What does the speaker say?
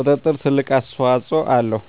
ቁጥጥር ትልቅ አስተዋፅኦ አለዉ